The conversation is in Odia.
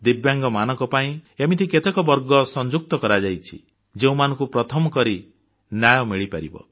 ଦିବ୍ୟାଙ୍ଗମାନଙ୍କ ପାଇଁ ଏମିତି କେତେକ ବର୍ଗ ସଂଯୁକ୍ତ କରାଯାଇଛି ଯେଉଁମାନଙ୍କୁ ପ୍ରଥମ କରି ନ୍ୟାୟ ମିଳିପାରିବ